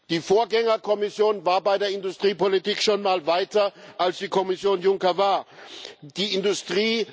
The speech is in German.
Die Vorgängerkommission war bei der Industriepolitik schon mal weiter als es die Kommission Juncker ist.